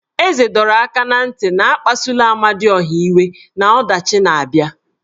Eze dọrọ aka na ntị na akpasuola Amadiọha iwe na ọdachi na-abịa.